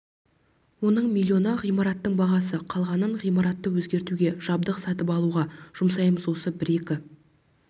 оның миллионы ғимараттың бағасы қалғанын ғимаратты өзгертуге жабдық сатып алуға жұмсаймыз осы бір-екі